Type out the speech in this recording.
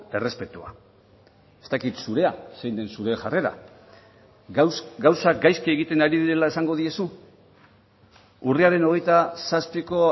errespetua ez dakit zurea zein den zure jarrera gauzak gaizki egiten ari direla esango diezu urriaren hogeita zazpiko